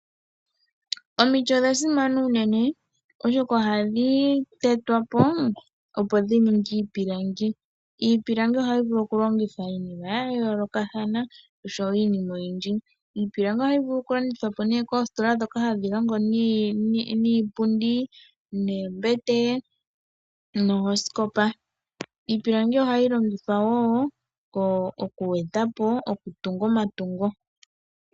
Omiti odha simana molwaashoka ohamu zi iilongomwa ngaashi iipilangi mbyoka hayi longithwa miinima yayoolokathana , ohadhi landithwapo koositola ndhoka hadhi longo niilongomwa ngaashi iipundi, oombete noosikopa. Iipilangi ohayi longithwa woo okutungithwa.